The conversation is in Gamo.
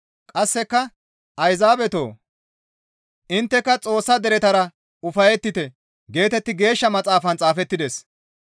Qasseka, «Ayzaabetoo! Intteka Xoossa deretara ufayettite» geetetti Geeshsha Maxaafan xaafettides.